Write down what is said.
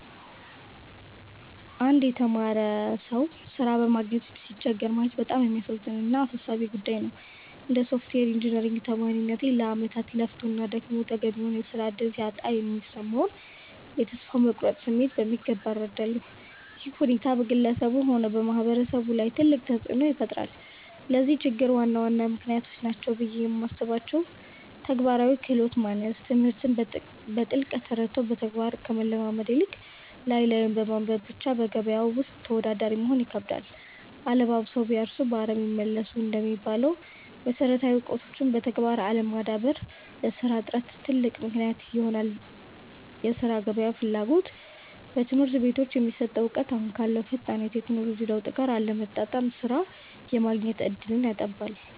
አንድ የተማረ ሰው ሥራ በማግኘት ሲቸገር ማየት በጣም የሚያሳዝን እና አሳሳቢ ጉዳይ ነው። እንደ ሶፍትዌር ኢንጂነሪንግ ተማሪነቴ፣ ለዓመታት ለፍቶና ደክሞ ተገቢውን የሥራ ዕድል ሲያጣ የሚሰማውን የተስፋ መቁረጥ ስሜት በሚገባ እረዳለሁ። ይህ ሁኔታ በግለሰቡም ሆነ በማህበረሰቡ ላይ ትልቅ ተጽዕኖ ይፈጥራል። ለዚህ ችግር ዋና ዋና ምክንያቶች ናቸው ብዬ የማስባቸው፦ ተግባራዊ ክህሎት ማነስ፦ ትምህርትን በጥልቀት ተረድቶ በተግባር ከመለማመድ ይልቅ፣ ላይ ላዩን በማንበብ ብቻ በገበያው ውስጥ ተወዳዳሪ መሆን ይከብዳል። 'አለባብሰው ቢያርሱ በአረም ይመለሱ' እንደሚባለው፣ መሰረታዊ እውቀትን በተግባር አለማዳበር ለሥራ እጥረት ትልቅ ምክንያት ይሆናል የሥራ ገበያው ፍላጎት፦ በትምህርት ቤቶች የሚሰጠው እውቀት አሁን ካለው ፈጣን የቴክኖሎጂ ለውጥ ጋር አለመጣጣሙ ሥራ የማግኘት ዕድልን ያጠባል።